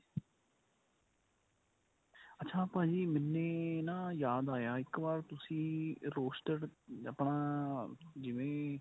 ਅੱਛਾ ਭਾਜੀ ਮੈਨੇ ਨਾ ਯਾਦ ਆਇਆ ਇੱਕ ਵਾਰ ਤੁਸੀਂ roasted ਆਪਣਾ ਜਿਵੇਂ